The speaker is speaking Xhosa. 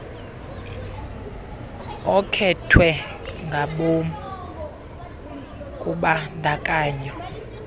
okhethwe ngabom kubandakanyo